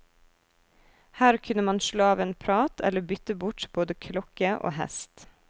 Her kunne man slå av en prat eller bytte bort både klokke og hest.